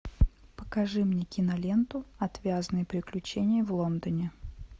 покажи мне киноленту отвязные приключения в лондоне